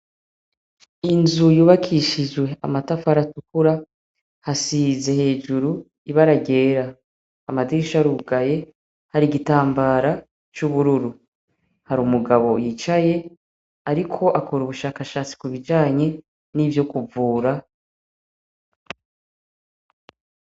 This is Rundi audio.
Inzu yubakishijwe amatafari atukura hasize hejuru ibara ryera amadirisha arugaye hari igitambara c' ubururu hari umugabo yicaye ariko akora ubushakashatsi kubijanye n' ivyo kuvura.